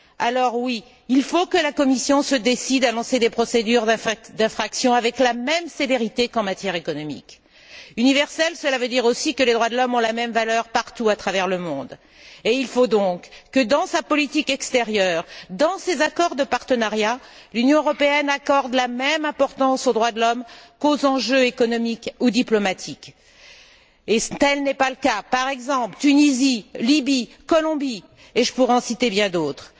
Alors, oui, il faut que la Commission se décide à lancer des procédures d'infraction avec la même sévérité qu'en matière économique. Universelle, cela veut dire aussi que les droits de l'homme ont la même valeur partout à travers le monde, et il faut donc, que dans sa politique extérieure, dans ses accords de partenariat, l'Union européenne accorde la même importance aux droits de l'homme qu'aux enjeux économiques ou diplomatiques. Tel n'est pas le cas, citons par exemple, la Tunisie, la Libye, la Colombie, et je pourrais en citer bien d'autres.